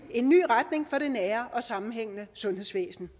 en ny retning for det nære og sammenhængende sundhedsvæsen